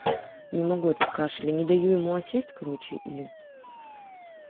не могу этот кашель и не даю ему осесть короче и